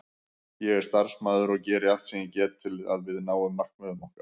Ég er starfsmaður og geri allt sem ég get til að við náum markmiðum okkar.